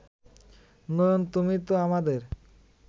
নয়ন তুমি তো আমাদের